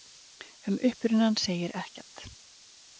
Um upprunann segir ekkert.